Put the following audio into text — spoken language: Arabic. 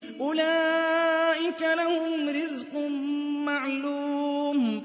أُولَٰئِكَ لَهُمْ رِزْقٌ مَّعْلُومٌ